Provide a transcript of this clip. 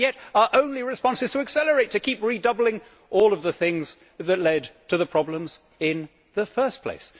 And yet our only response is to accelerate, to keep redoubling all of the things that led to the problems in the first place.